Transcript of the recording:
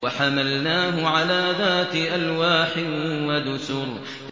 وَحَمَلْنَاهُ عَلَىٰ ذَاتِ أَلْوَاحٍ وَدُسُرٍ